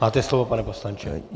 Máte slovo, pane poslanče.